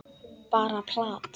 Bara plat.